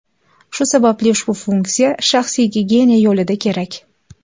Shu sababli ushbu funksiya shaxsiy gigiyena yo‘lida kerak.